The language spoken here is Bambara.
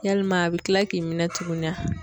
Yalima a bɛ kila k'i minɛ tugunni a?